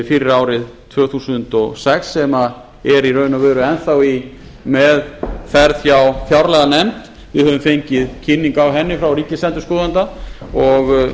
fyrir árið tvö þúsund og sex sem er í raun og veru enn í meðferð hjá fjárlaganefnd við höfum fengið kynningu á henni frá ríkisendurskoðanda og